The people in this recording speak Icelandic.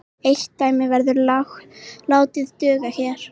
Eitt dæmi verður látið duga hér.